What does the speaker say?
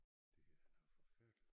Det er noget forfærdeligt